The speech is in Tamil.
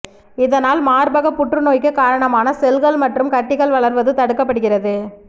இதனால் மார்பகப் புற்றுநோய்க்குக் காரணமான செல்கள் மற்றும் கட்டிகள் வளர்வது தடுக்கப்படுகிறது